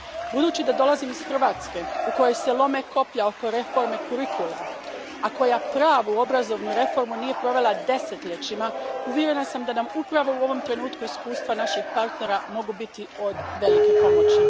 Budući da dolazim iz Hrvatske, u kojoj se lome koplja oko reforme kurikuluma, a koja pravu obrazovnu reformu nije provela desetljećima, uvjerena sam da nam upravo u ovom trenutku iskustva naših partnera mogu biti od velike pomoći.